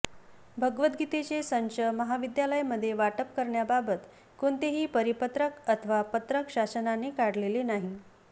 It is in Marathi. भगवद् गीतेचे संच महाविद्यालयामध्ये वाटप करण्याबाबत कोणतेही परिपत्रक अथवा पत्रक शासनाने काढलेले नाही